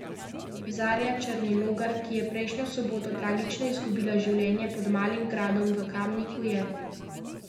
Zarja Černilogar, ki je prejšnjo soboto tragično izgubila življenje pod Malim gradom v Kamniku, je zagotovo večkrat odskočila.